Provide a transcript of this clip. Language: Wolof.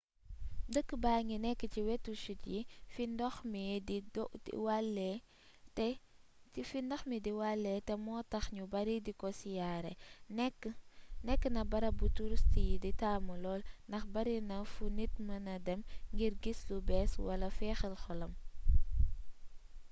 dëkk baa ngi nekk ci wetu chutte yi fi ndox mi di walee te moo tax ñu bari diko siyaare nekk na barab bu touriste yi taamu lool ndax barina fu nit mën dem ngir gis lu bees wala féexal xolam